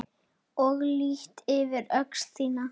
Ég lýt yfir öxl þína.